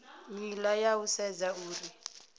nila ya u sedza uri